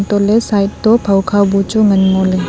untohley side toh phawkha bu chu ngo ley.